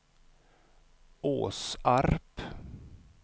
Åsarp